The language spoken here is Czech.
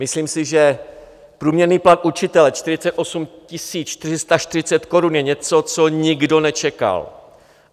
Myslím si, že průměrný plat učitele 48 440 korun je něco, co nikdo nečekal.